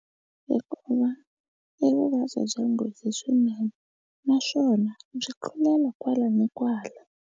Hikuva i vuvabyi bya nghozi swinene naswona byi tlulela kwala ni kwala.